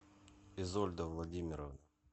изольда владимировна